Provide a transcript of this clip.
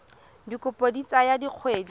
dikopo di ka tsaya dikgwedi